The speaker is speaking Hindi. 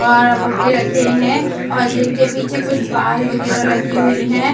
और बुट्टे रखे हैं और जिनके पीछे कुछ बाल वगैरह लगी हुई हैं।